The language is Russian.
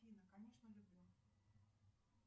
афина конечно люблю